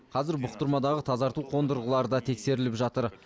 қазір бұқтырмадағы тазарту қондырғылары да тексеріліп жатыр